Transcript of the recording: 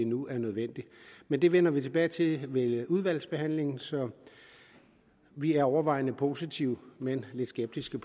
nu er nødvendigt men det vender vi tilbage til ved udvalgsbehandlingen så vi er overvejende positive men lidt skeptiske